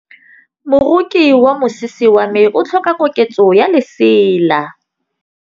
Moroki wa mosese wa me o tlhoka koketsô ya lesela.